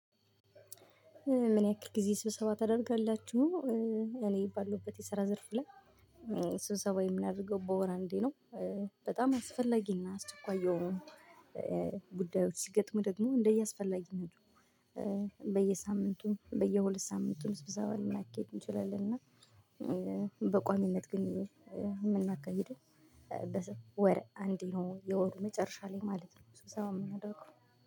ምን ያክል ጊዜ ስብሰባ ታደርጋላችሁ? እኔ ባለሁበት የሰራ ዘርፍ ላይ ስብሰባ የምናደርገው በወር እንዴ ነው። በጣም አስፈላጊና አስቸኳይ የሆኑ ጉዳዮች ሲገጥሙ ደግሞ እንደየአስፈላጊነቱ በየሳምንቱ በየሁለት ሳምንቱም ስብሰባ ልናካሄድም እንችላለን። እና በቋሚነት ግን የምናካሂደው በወር አንዴ ነው የወሩ መጨረሻ ላይ ማለት ነው። ስብሰባ የምናደርገው